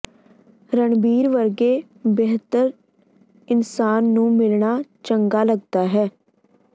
ਰਣਬੀਰ ਵਰਗੇ ਬਿਹਤਰ ਇਨਸਾਨ ਨੂੰ ਮਿਲਣਾ ਚੰਗਾ ਲੱਗਦਾ ਹੈ